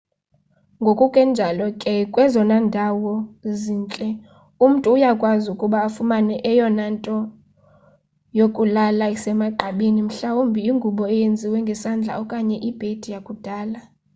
ngokunjalo ke kwezona ndawo zintle umntu uyakwazi ukuba afumane eyona nto yokulala isemagqabini mhlawumbi ingubo eyenziwe ngesandla okanye ibhedi yakudala